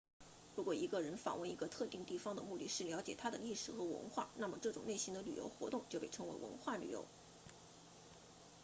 如果一个人访问一个特定地方的目的是了解它的历史和文化那么这种类型的旅游活动就被称为文化旅游